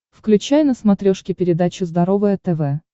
включай на смотрешке передачу здоровое тв